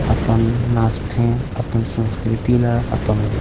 अपन नाच थे अपन संस्कृति ल अपन--